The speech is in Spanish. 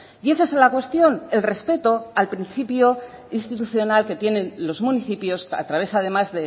y esa es la cuestión el respeto al principio institucional que tienen los municipios a través además